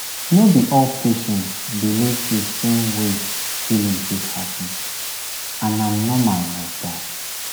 no be all patients believe the same way healing take happen and na normal like that